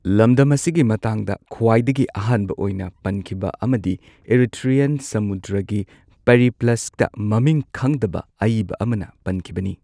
ꯂꯝꯗꯝ ꯑꯁꯤꯒꯤ ꯃꯇꯥꯡꯗ ꯈ꯭ꯋꯥꯏꯗꯒꯤ ꯑꯍꯥꯟꯕ ꯑꯣꯏꯅ ꯄꯟꯈꯤꯕ ꯑꯃꯗꯤ ꯏꯔꯤꯊ꯭ꯔꯤꯌꯟ ꯁꯃꯨꯗ꯭ꯔꯒꯤ ꯄꯦꯔꯤꯄ꯭ꯂꯁꯇ ꯃꯃꯤꯡ ꯈꯪꯗꯕ ꯑꯏꯕ ꯑꯃꯅ ꯄꯟꯈꯤꯕꯅꯤ꯫